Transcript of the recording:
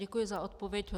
Děkuji za odpověď.